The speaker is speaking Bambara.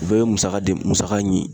O bɛɛ ye musaka de, musaka